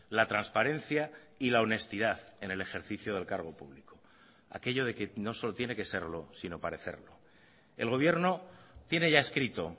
la transparencia y la honestidad en el ejercicio del cargo público aquello de que no solo tiene que serlo sino parecerlo el gobierno tiene ya escrito